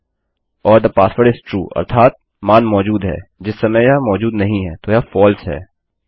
ओर थे पासवर्ड इस ट्रू अर्थात मान मौजूद है जिस समय यह मौजूद नहीं हैतो यह फलसे है